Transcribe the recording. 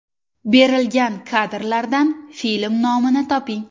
Berilgan kadrlardan film nomini toping.